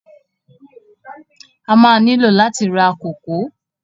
A má á nílò láti ra kòkó.